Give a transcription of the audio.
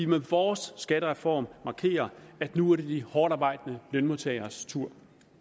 med vores skattereform markerer at nu er det de hårdtarbejdende lønmodtageres tur